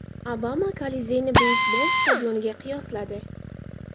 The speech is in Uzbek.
Obama Kolizeyni beysbol stadioniga qiyosladi.